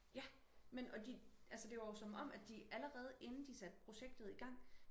ja men og de altså det var jo som om at de allerede inden de satte projektet i gang